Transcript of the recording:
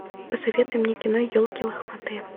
посоветуй мне кино елки лохматые